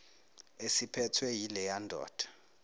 esiphethwe yileya ndoda